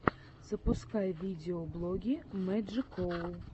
запускай видеоблоги мэджикоу